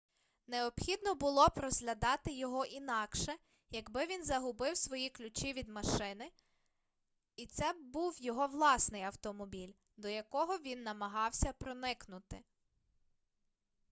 необхідно було б розглядати його інакше якби він загубив свої ключі від машини і це б був його власний автомобіль до якого він намагався проникнути